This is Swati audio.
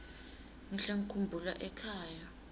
ngihle ngikhumbula ekhaya